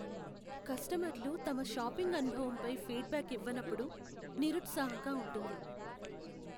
కస్టమర్లు తమ షాపింగ్ అనుభవంపై ఫీడ్బ్యాక్ ఇవ్వనప్పుడు నిరుత్సాహంగా ఉంటుంది.